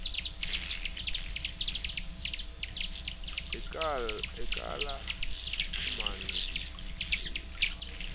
e ka la mmamodukule o